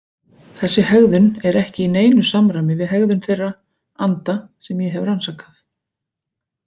Þessi hegðun er ekki í neinu samræmi við hegðun þeirra anda sem ég hef rannsakað.